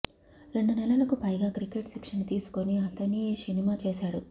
రెండు నెలలకు పైగా క్రికెట్ శిక్షణ తీసుకుని అతనీ సినిమా చేశాడు